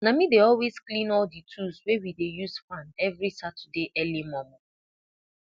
na me dey always clean all the tools wey we dey use farm every saturday early momo